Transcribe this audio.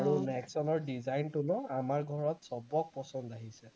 আৰু নেক্সনৰ design টো ন আমাৰ ঘৰত সৱক পছন্দ আহিছে